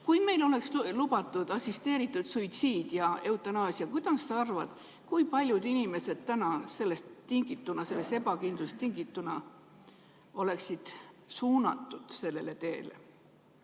Kui meil oleks lubatud assisteeritud suitsiid ja eutanaasia, kuidas sa arvad, kui paljud inimesed täna sellest ebakindlusest tingituna suunduksid sellele teele?